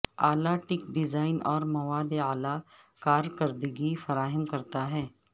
اعلی tech design اور مواد اعلی کارکردگی فراہم کرتا ہے